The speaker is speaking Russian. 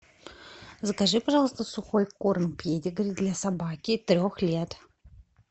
закажи пожалуйста сухой корм педигри для собаки трех лет